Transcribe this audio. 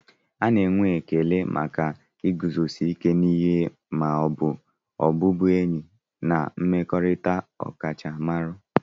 A na-enwe ekele maka iguzosi ike n'ihe ma n'ọbụbụenyi na mmekọrịta ọkachamara.